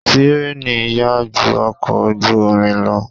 Tírèènì yá ju ọkọ̀ ojú omi lọ.